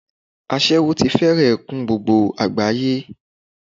Aséwó ti fẹ́rẹ̀ kún gbogbo àgbáyé.